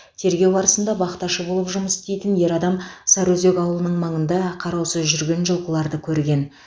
тергеу барысында бақташы болып жұмыс істейтін ер адам сарыөзек ауылының маңында қараусыз жүрген жылқыларды көрген